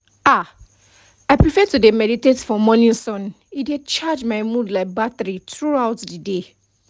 ah i prefer to dey meditate for morning sun e dey charge my mood like battery throughout the day